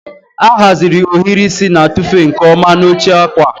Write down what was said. A haziri ohiri isi na-atụfu nke ọma n'oche akwa.